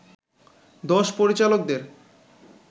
দশ পরিচালকদের